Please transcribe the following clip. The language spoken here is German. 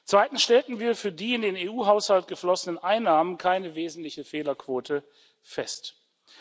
Zweitens haben wir für die in den EU Haushalt geflossenen Einnahmen keine wesentliche Fehlerquote festgestellt.